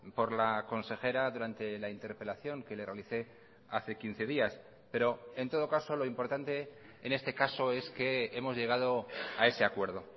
por la consejera durante la interpelación que le realicé hace quince días pero en todo caso lo importante en este caso es que hemos llegado a ese acuerdo